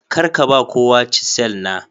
Kar ka ba kowa chisel na.